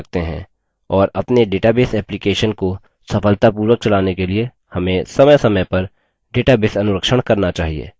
और अपने database application को सफलतापूर्वक चलाने के लिए हमें समयसमय पर database अनुरक्षण करना चाहिए